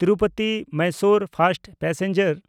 ᱛᱤᱨᱩᱯᱚᱛᱤ–ᱢᱟᱭᱥᱳᱨ first passenger